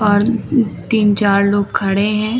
और तीन चार लोग खड़े हैं।